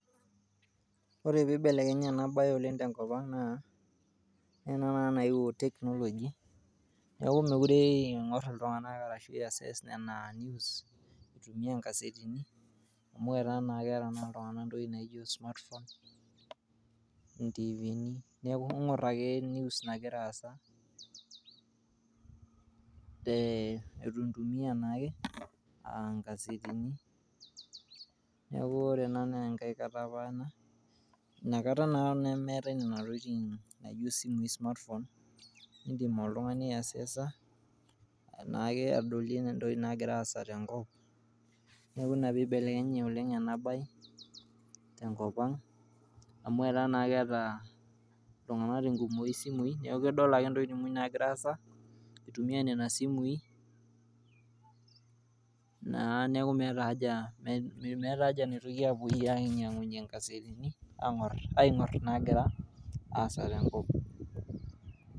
Ore peibelekenye ena bae oleng tenkop aang, naa ena naa naewuo technology neauku mekute eingor ltunganak arashu eas anaa amu keeta naa ltunganak entoki naji smartphone neaku ingur ake news nagira aasa e ningur taake nkasetini neaku ore ena na inakata naapa ena nemaati nona tokitin naji simui naji smartphone indim oltungani aiccesor naake adolie ntokitin nagira aasa tenkop .Neaku ina peibelekenye naleng ena bae tenkop aang amu ataa naa keeta ltunganak isimui neaku kedol ake entoki nagira aasa itumia nona simui, neaku naa mee meeta aja napuoi ainyangunye nona asetini aingur nagira aasa tenkop.